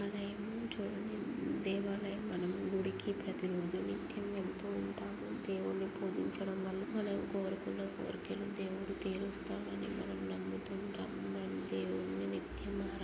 చూడండి దేవాలయం. మనం గుడికి ప్రతిరోజు నిత్యం వెళ్తూ ఉంటాం. దేవుణ్ణి పూజించడం వల్ల మనం కోరుకున్న కోరికెలు దేవుడు తీరస్తాడని మనం నమ్ముతున్టాం.మనం దేవుణ్ణి నిత్యమ్--